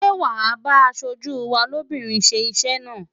Ṣé wàá bá aṣojú wa lóbìnrin ṣe iṣẹ́ náà?